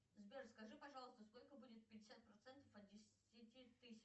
сбер скажи пожалуйста сколько будет пятьдесят процентов от десяти тысяч